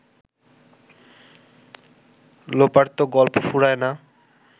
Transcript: লোপার তো গল্প ফুরায় না